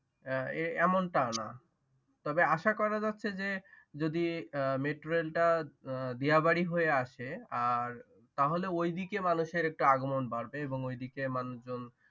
আহ এমনটা নাহ্ তবে আসা করা যাচ্ছে যে যদি মেট্রোরেলটা দিয়াবাড়ি হইয়ে আসে আর তাহলে ওইদিকে মানুষের একটু আগমন বাড়বে এবং ওইদিকের মানুষজন